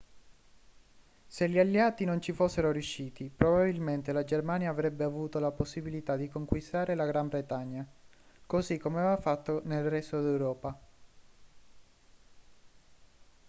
se gli alleati non ci fossero riusciti probabilmente la germania avrebbe avuto la possibilità di conquistare la gran bretagna così come aveva fatto nel resto d'europa